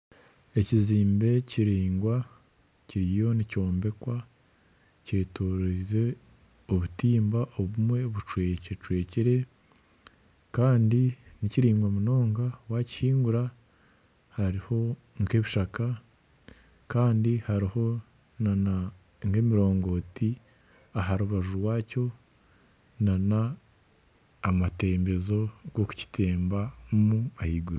Ekizimbe kiringwa kiriyo nikyombekwa kyetoreize obutimba obumwe bucwekacwekire kandi nikiringwa munonga waakihingura hariho nk'ebishaka kandi hariho n'emirongoti aha rubaju rwakyo nana amatembezo g'okukitembamu ahaiguru